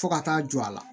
Fo ka taa jɔ a la